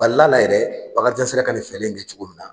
Balil'a la yɛrɛ Bakarijan sera ka nin fɛlɛ in kɛ cogo min na